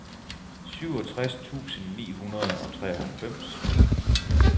syvogtres tusind ni hundrede og treoghalvfems